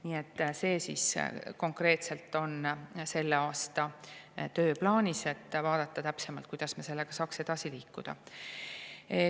Nii et see on konkreetselt selle aasta tööplaanis, et vaadata täpsemalt, kuidas me sellega saaks edasi liikuda.